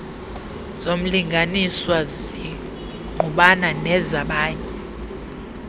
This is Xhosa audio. zomlinganiswa zingqubana nezabanye